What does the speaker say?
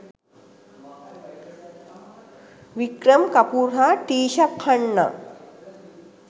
වික්‍රම් කපූර් හා ටීෂා ඛන්නා.